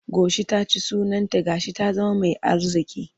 Goshi ta ci sunanta ga shi ta zama mai arziƙi.